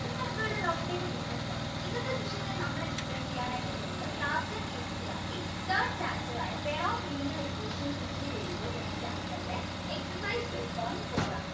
ലോകത്തേക്ക് വീണ്ടും സ്വാഗതം ഇന്നത്തെ നമ്മൾ explain ചെയ്യാനായിട്ട് പോകുന്നത് class inNCERTthird chapter ആയ pair of linear equations in two variables എന്ന chapter ന്റെ exercise three point four ആണ്